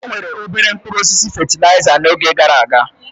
Enwere obere mkpụrụ osisi fatịlaịza n'oge gara aga.